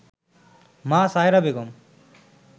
মা সায়রা বেগম